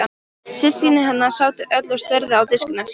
Systkini hennar sátu öll og störðu á diskana sína.